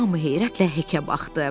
Hamı heyrətlə Hekə baxdı.